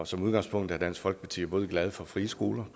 som udgangspunkt er dansk folkeparti både glade for frie skoler